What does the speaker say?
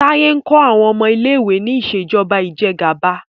Taye nkó awọn ọmọ ilé ìwé ní Ìṣèjọba Ìjẹgàba